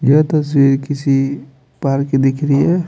यह तस्वीर किसी पार्क की दिख रही है।